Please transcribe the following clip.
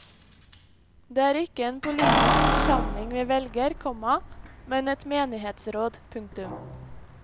Det er ikke en politisk forsamling vi velger, komma men et menighetsråd. punktum